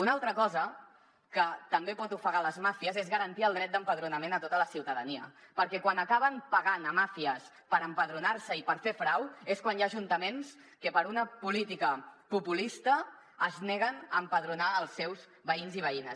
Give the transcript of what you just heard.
una altra cosa que també pot ofegar les màfies és garantir el dret d’empadronament a tota la ciutadania perquè quan acaben pagant màfies per empadronar se i per fer frau és quan hi ha ajuntaments que per una política populista es neguen a empadronar els seus veïns i veïnes